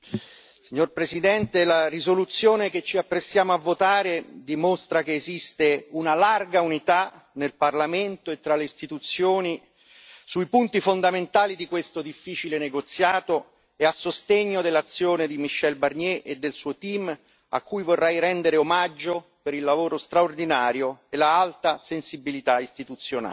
Signor Presidente, onorevoli colleghi, la risoluzione che ci apprestiamo a votare dimostra che esiste una larga unità nel Parlamento e tra le istituzioni sui punti fondamentali di questo difficile negoziato e a sostegno dell'azione di Michel Barnier e del suo team, a cui vorrei rendere omaggio per il lavoro straordinario e l'alta sensibilità istituzionale.